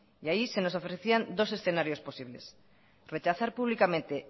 y allí se nos ofrecían dos escenarios posibles rechazar públicamente